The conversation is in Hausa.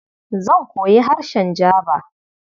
Zan koyi harshen Jaba.